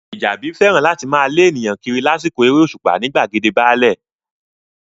Fìjàbí fẹ́ràn láti máa lé ènìyàn kiri lásìkò eré òṣùpá ní gbàgede báálẹ̀